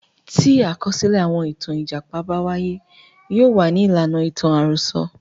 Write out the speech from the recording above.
Tí àkọsílẹ̀ àwọn ìtàn Ìjàpá bá wáyé. Yóò wà ní ìlànà ìtàn àròsọ.